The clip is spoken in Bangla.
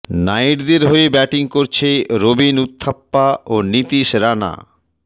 নাইটদের হয়ে ব্যাটিং করছে রবিন উথাপ্পা ও নীতিশ রানা